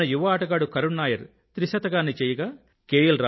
మన యువ ఆటగాడు కరుణ్ నాయర్ త్రిశతాన్ని చేయగా కె